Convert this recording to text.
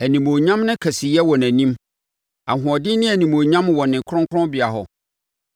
Animuonyam ne kɛseyɛ wɔ nʼanim; ahoɔden ne animuonyam wɔ ne kronkronbea hɔ.